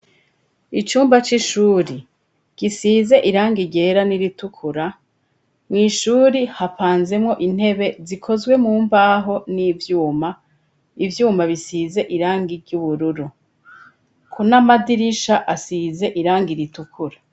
Icumba c'ishure gisize irangi ryera n'iritukura, mw'ishure hapanzemwo intebe zikozwe mu mbaho n'ivyuma, ivyuma bisize irangi ry'ubururu, n'amadirisha asize irangi ritukura.